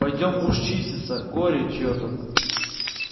пойдём уж чиститься горе чьё-то